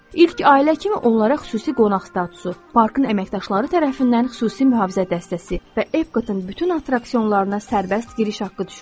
İlk ailə kimi onlara xüsusi qonaq statusu, parkın əməkdaşları tərəfindən xüsusi mühafizə dəstəsi və Epcotın bütün attraksionlarına sərbəst giriş haqqı düşürdü.